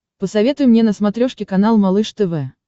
посоветуй мне на смотрешке канал малыш тв